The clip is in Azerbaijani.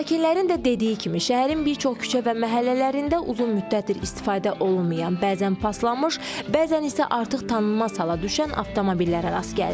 Sakinlərin də dediyi kimi, şəhərin bir çox küçə və məhəllələrində uzun müddətdir istifadə olunmayan, bəzən paslanmış, bəzən isə artıq tanınmaz hala düşən avtomobillərə rast gəlirik.